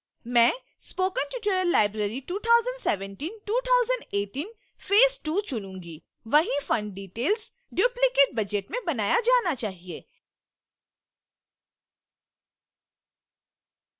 मैं spoken tutorial library 20172018 phase ii चुनुंगी